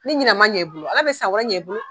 Ni ɲinɛ ma ɲan i bolo, Ala bɛ san wɛrɛ ɲɛn i bolo!